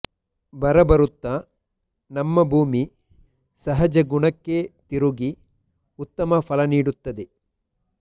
ಬರಬರುತ್ತ ನಮ್ಮ ಭೂಮಿ ಸಹಜಗುಣಕ್ಕೆ ತಿರುಗಿ ಉತ್ತಮ ಫಲ ನೀಡುತ್ತದೆ